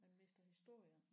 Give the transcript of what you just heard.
Man mister historier